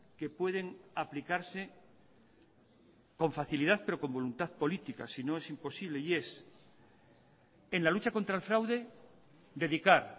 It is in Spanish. que pueden aplicarse con facilidad pero con voluntad política si no es imposible y es en la lucha contra el fraude dedicar